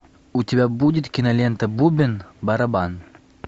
у тебя будет кинолента бубен барабан